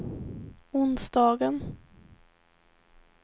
onsdagen